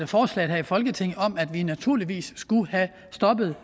forslag her i folketinget om at vi naturligvis skulle have stoppet